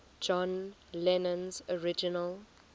john lennon's original